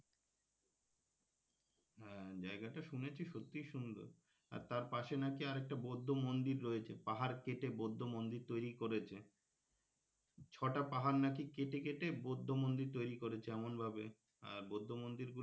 হ্যাঁ জায়গা টা শুনেছি সত্যিই সুন্দর আর তারপাশে নাকি আরেকটা বৌদ্ধ মন্দির রয়েছে পাহাড় কেটে বৌদ্ধ মন্দির তৈরি করেছে ছটা পাহাড় নাকি কেটে কেটে বৌদ্ধ মন্দির তৈরি করেছে এমনভাবে বৌদ্ধ মন্দির গুলো,